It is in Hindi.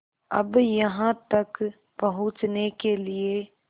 अब यहाँ तक पहुँचने के लिए